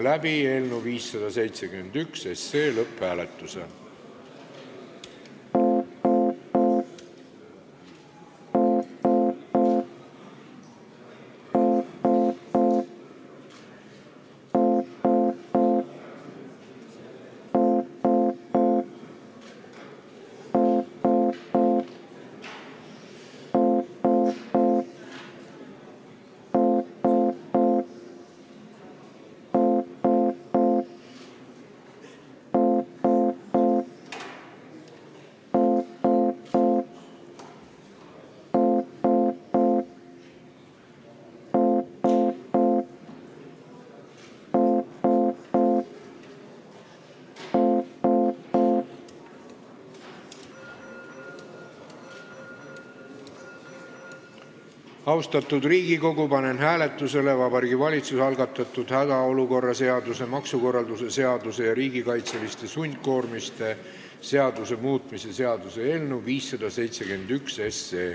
Austatud Riigikogu, panen hääletusele Vabariigi Valitsuse algatatud hädaolukorra seaduse, maksukorralduse seaduse ja riigikaitseliste sundkoormiste seaduse muutmise seaduse eelnõu 571.